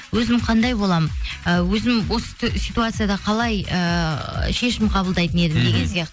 өзім қандай боламын ы өзім осы ситуацияда қалай ыыы шешім қабылдайтын едім деген сияқты